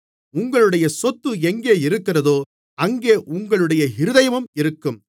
உங்களுடைய சொத்து எங்கேயிருக்கிறதோ அங்கே உங்களுடைய இருதயமும் இருக்கும்